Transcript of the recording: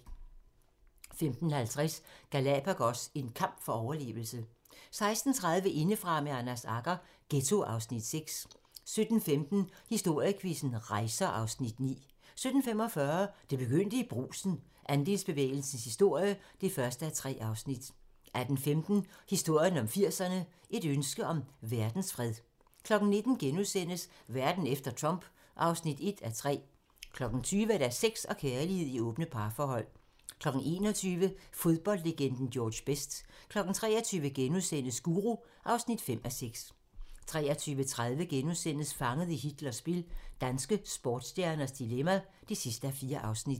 15:50: Galapagos - en kamp for overlevelse 16:30: Indefra med Anders Agger - Ghetto (Afs. 6) 17:15: Historiequizzen: Rejser (Afs. 9) 17:45: Det begyndte i Brugsen - Andelsbevægelsens historie (1:3) 18:15: Historien om 80'erne: Et ønske om verdensfred 19:00: Verden efter Trump (1:3)* 20:00: Sex og kærlighed i åbne parforhold 21:00: Fodboldlegenden George Best 23:00: Guru (5:6)* 23:30: Fanget i Hitlers spil - danske sportsstjerners dilemma (4:4)*